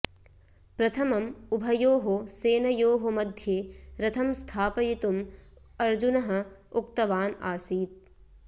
प्रथमम् उभयोः सेनयोः मध्ये रथं स्थापयितुम् अर्जुनः उक्तवान् आसीत्